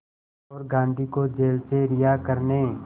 और गांधी को जेल से रिहा करने